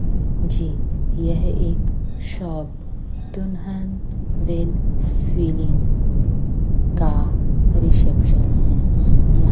जी यह एक शॉप दुल्हन वेल फीलिंग का रिसेप्शन हैं या--